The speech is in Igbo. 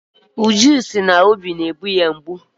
Uju si na ọ na-enwe obi mgbu.